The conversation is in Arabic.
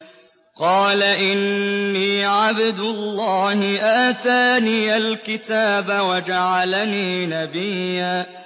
قَالَ إِنِّي عَبْدُ اللَّهِ آتَانِيَ الْكِتَابَ وَجَعَلَنِي نَبِيًّا